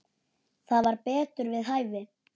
Það var betur við hæfi.